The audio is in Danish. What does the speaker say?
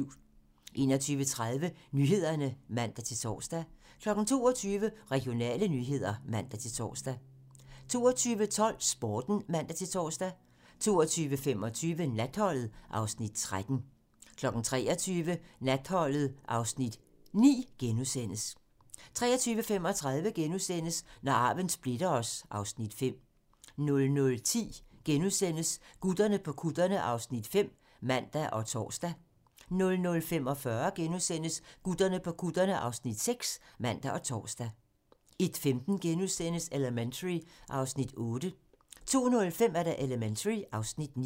21:30: Nyhederne (man-tor) 22:00: Regionale nyheder (man-tor) 22:12: Sporten (man-tor) 22:25: Natholdet (Afs. 13) 23:00: Natholdet (Afs. 9)* 23:35: Når arven splitter os (Afs. 5)* 00:10: Gutterne på kutterne (Afs. 5)*(man og tor) 00:45: Gutterne på kutterne (Afs. 6)*(man og tor) 01:15: Elementary (Afs. 8)* 02:05: Elementary (Afs. 9)